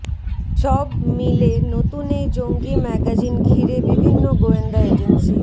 সব মিলে নতুন এই জঙ্গি ম্যাগাজিন ঘিরে বিভিন্ন গোয়েন্দা এজেন্সি